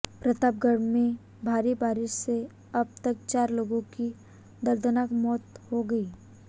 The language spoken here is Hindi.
प्रतापगढ़ में भारी बारिश से अब तक चार लोगों की दर्दनाक मौत हो गई